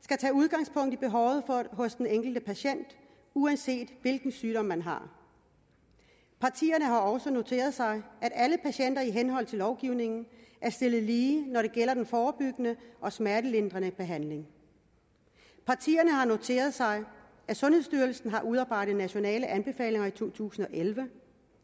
skal tage udgangspunkt i behovet hos den enkelte patient uanset hvilken sygdom man har partierne har også noteret sig at alle patienter i henhold til lovgivningen er stillet lige når det gælder den forebyggende og smertelindrende behandling partierne har noteret sig at sundhedsstyrelsen har udarbejdet nationale anbefalinger i to tusind og elleve